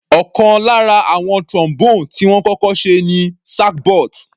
Ọ̀kan lára àwọn Trombone tí wọ́n kọ́kọ́ ṣe ni sackbut.